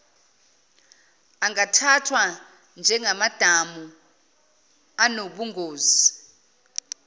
angathathwa njengamadamu anobungozi